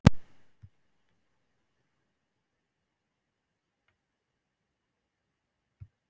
Hún klemmir saman varirnar.